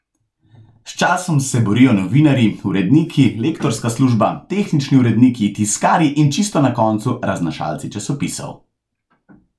S časom se borijo novinarji, uredniki, lektorska služba, tehnični uredniki, tiskarji in čisto na koncu raznašalci časopisov.